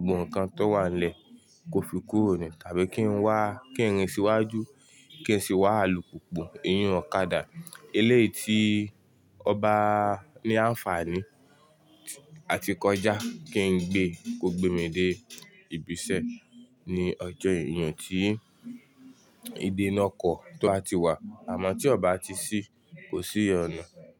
gbogbo nǹkan tó wà nílẹ̀ kó fi kúrò nì tàbí kí n wá, kí n rìn síwájú, kí n sì wá alùpùpù, èyiún, ọ̀kadà. Eléyìí tí ó bá ní àǹfààní àti kọjá kí n gbé kó gbé mi dé ibiṣẹ́ ní ọjọ́ èyíun tí ìdènà kọ̀ tó ti wà. Àmọ́ tí ọba tí ṣí, kò sí ìyọnu.